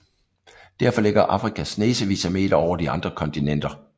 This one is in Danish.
Derfor ligger Afrika snesevis af meter over de andre kontinenter